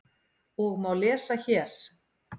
og má lesa hér.